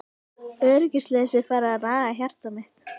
Öryggisleysið farið að naga hjarta mitt.